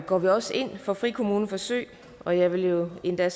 går vi også ind for frikommuneforsøg og jeg vil endda